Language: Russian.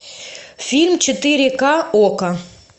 фильм четыре ка окко